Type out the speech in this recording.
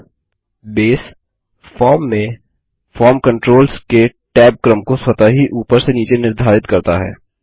अब base form में form controls के टैब क्रम को स्वतः ही उपर से नीचे निर्धारित करता है